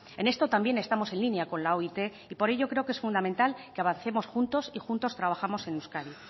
en esto también estamos en línea con la oit y por ello creo que es fundamental que avancemos juntos y juntos trabajamos en euskadi